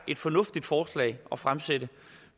et fornuftigt forslag at fremsætte